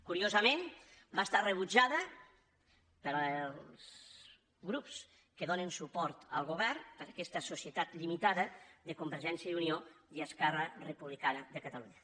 curiosament va ser rebutjada pels grups que donen suport al govern per aquesta societat limitada de convergència i unió i esquerra republicana de catalunya